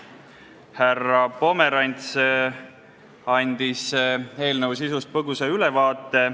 Härra Pomerants andis eelnõu sisust põgusa ülevaate.